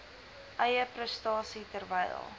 eie prestasie terwyl